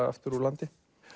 aftur úr landi